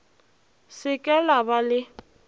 se ke la ba le